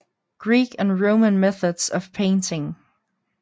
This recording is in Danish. Greek and Roman Methods of Painting